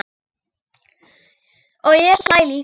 Og ég hlæ líka.